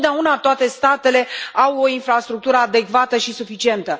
Nu totdeauna toate statele au o infrastructură adecvată și suficientă.